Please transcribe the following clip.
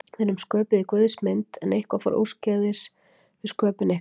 Við erum sköpuð í Guðs mynd, en eitthvað fór úrskeiðis við sköpun ykkar.